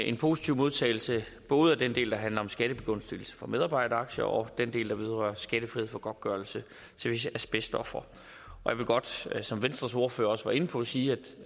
en positiv modtagelse både af den del der handler om en skattebegunstigelse for medarbejderaktier og af den del der vedrører skattefrihed for godtgørelse til visse asbestofre jeg vil godt som som venstres ordfører også var inde på sige